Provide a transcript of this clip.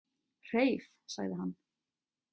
Hreif, sagði hann.